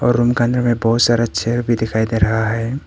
और रूम के अंदर बहुत सारा चेयर भी दिखाई दे रहा है।